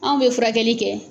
Anw bɛ furakɛli kɛ.